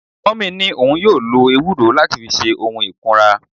Mummy ni oun yoo lo ewuro lati fi se ohun ikunra